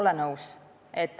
Ei ole nõus.